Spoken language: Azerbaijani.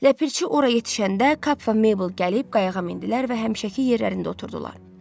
Ləpirçi ora yetişəndə Kap və Meybl gəlib qayığa mindilər və həmişəki yerlərində oturdular.